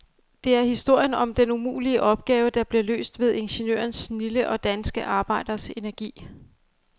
Det er historien om den umulige opgave, der blev løst ved ingeniørernes snilde og danske arbejderes energi.